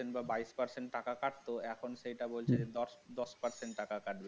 বা বাইশ percent টাকা কাটতো এখন সেটা বলছে দশ দশ percent টাকা কাটবে